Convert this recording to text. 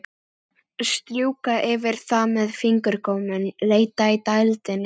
Strjúka yfir það með fingurgómunum, leita að dældinni.